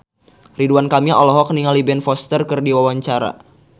Ridwan Kamil olohok ningali Ben Foster keur diwawancara